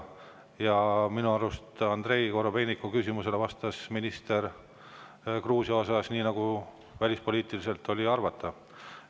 Ja minu arust Andrei Korobeiniku küsimusele Gruusia kohta vastas minister nii, nagu välispoliitiliselt oli arvata.